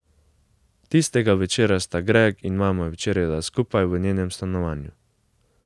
Tistega večera sta Greg in mama večerjala skupaj v njenem stanovanju.